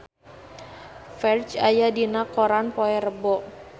Ferdge aya dina koran poe Rebo